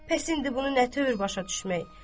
Bəs indi bunu nə tör başa düşmək?